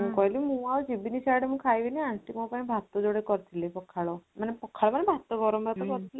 ମୁଁ କହିଲି ମୁଁ ଆଉ ଯିବିନି ସିଆଡେ ମୁଁ ଖାଇବିନି aunty ମୋ ପାଇଁ ଭାତ ଯୋଡ଼େ କରିଥିଲେ ପଖାଳ ମାନେ ପଖାଳ ମାନେ ଭାତ ଗରମ ଭାତ କରିଥିଲେ